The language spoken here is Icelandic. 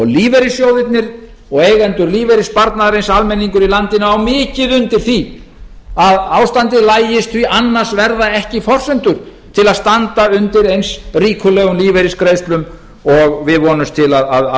lífeyrissjóðirnir og eigendur lífeyrissparnaðarins almenningur í landinu á mikið undir því að ástandið lagist því annars verða ekki forsendur til að standa undir eins ríkulegum lífeyrisgreiðslum og við vonumst til að